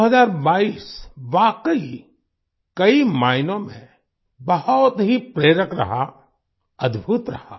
2022 वाकई कई मायनों में बहुत ही प्रेरक रहा अद्भुत रहा